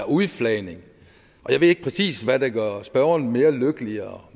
udflaget jeg ved ikke præcis hvad der gør spørgeren mere lykkelig